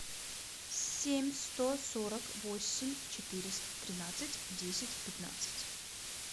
семь сто сорок восемь четыреста тринадцать десять пятнадцать